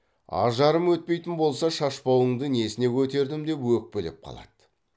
ажарым өтпейтін болса шашпауыңды несіне көтердім деп өкпелеп қалады